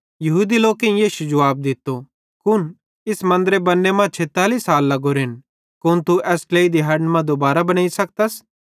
यहूदी लोकेईं यीशु जुवाब दित्तो कुन इस मन्दरे बन्ने मां 46 साल लगोरेन कुन तू एस ट्लेई दिहैड़न मां दुबारो बनेइ सकतस